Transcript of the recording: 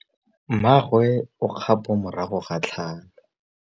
Mmagwe o kgapô morago ga tlhalô.